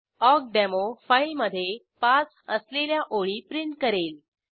ऑकडेमो फाईलमधे पास असलेल्या ओळी प्रिंट करेल